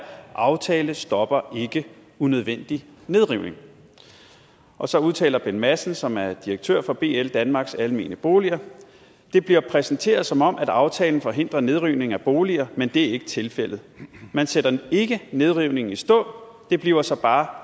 aftale stopper ikke unødvendig nedrivning og så udtaler bent madsen som er direktør for bl danmarks almene boliger det bliver præsenteret som om at aftalen forhindrer nedrivning af boliger men det er ikke tilfældet man sætter ikke nedrivningen i stå det bliver så bare